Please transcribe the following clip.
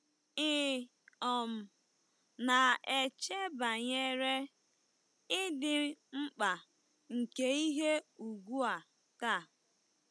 Ị̀ um na-eche banyere ịdị mkpa nke ihe ùgwù a taa?